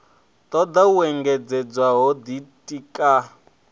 toda u engedzedza ho ditika